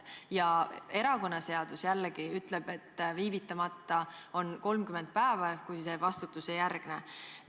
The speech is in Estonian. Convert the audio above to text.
Ja erakonnaseadus jällegi ütleb, et viivitamata on 30 päeva ehk see vastustusejärgne.